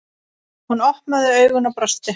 Hún opnaði augun og brosti.